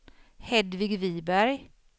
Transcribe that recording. Hedvig Viberg